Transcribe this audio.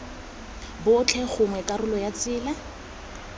botlhe gongwe karolo ya tsela